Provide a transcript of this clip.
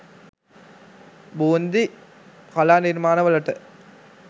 බූන්දි කලා නිර්මාණවලට